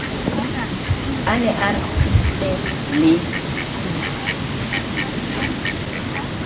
a ne a ritsitse le